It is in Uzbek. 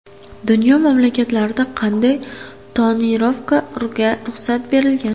Dunyo mamlakatlarida qanday tonirovkaga ruxsat berilgan?